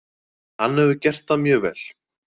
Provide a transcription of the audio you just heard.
Hann hefur gert það mjög vel.